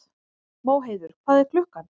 Móheiður, hvað er klukkan?